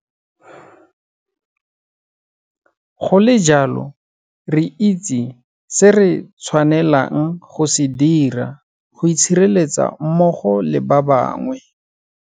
Go le jalo, re itse se re tshwanelang go se dira go itshireletsa mmogo le ba bangwe.